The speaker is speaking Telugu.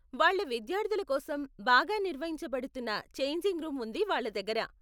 వాళ్ళ విద్యార్థుల కోసం బాగా నిర్వహించబడుతున్న ఛేంజింగ్ రూమ్ ఉంది వాళ్ళ దగ్గర.